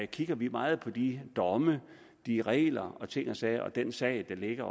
kigger vi meget på de domme de regler og ting og sager og også den sag der ligger